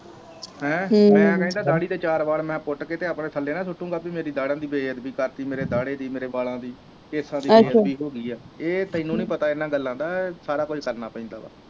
ਹੈਂ ਮੈਂ ਦਾੜੀ ਦੇ ਚਾਰ ਵਾਲ ਪੂਟ ਕ ਆਪਣੇ ਥੱਲੇ ਨਾ ਸੁੱਟੂ ਗਾ ਪੀ ਮੇਰੇ ਦੀ ਬੇਦਬੀ ਕਰਤੀ ਮੇਰੇ ਦਾਡੇ ਦੀ ਮੇਰੇ ਵਾਲਾਂ ਦੀ ਕੇਸਾਂ ਦੀ ਬੇਦਬੀ ਹੋਗੀ ਆ ਇਹ ਤੈਨੂੰ ਨੀ ਪਤਾ ਇਹਨਾਂ ਗਲਾਂ ਦਾ ਸਾਰਾ ਕੁਝ ਕਰਨਾ ਪੈਂਦਾ ਆ